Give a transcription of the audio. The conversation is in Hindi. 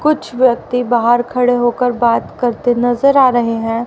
कुछ व्यक्ति बाहर खड़े होकर बात करते नजर आ रहे हैं।